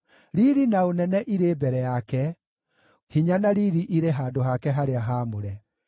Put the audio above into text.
Riiri na ũnene irĩ mbere yake; hinya na riiri irĩ handũ hake harĩa haamũre.